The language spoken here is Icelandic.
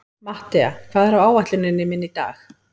Mattea, hvað er á áætluninni minni í dag?